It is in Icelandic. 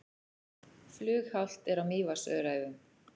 Flughált er á Mývatnsöræfum